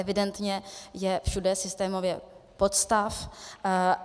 Evidentně je všude systémově podstav.